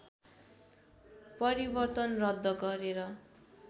परिवर्तन रद्द गरेर